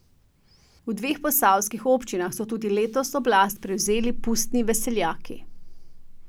V dveh posavskih občinah so tudi letos oblast prevzeli pustni veseljaki.